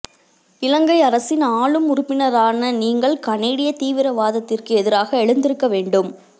இலங்கை அரசின் ஆளும் உறுப்பினரான நீங்கள் கனேடிய தீவிர வாதத்திற்கு எதிராக எழுந்திருக்க வேண்டும்